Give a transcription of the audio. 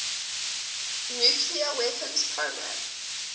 nuclear weapons program